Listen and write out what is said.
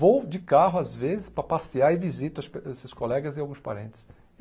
Vou de carro, às vezes, para passear e visito as pe eh esses colegas e alguns parentes.